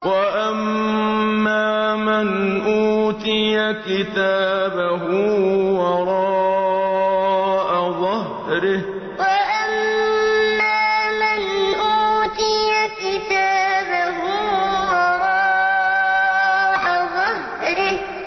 وَأَمَّا مَنْ أُوتِيَ كِتَابَهُ وَرَاءَ ظَهْرِهِ وَأَمَّا مَنْ أُوتِيَ كِتَابَهُ وَرَاءَ ظَهْرِهِ